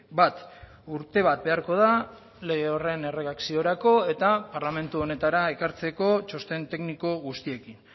bat urte bat beharko da lege horren erredakziorako eta parlamentu honetara ekartzeko txosten tekniko guztiekin